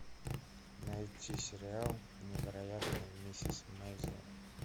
найти сериал невероятная миссис мейзел